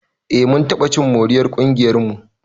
Eh mun taɓa cin moriyar ƙungiyarmu.